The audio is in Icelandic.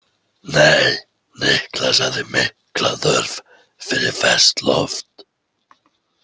Nei, Niklas hafði mikla þörf fyrir ferskt loft.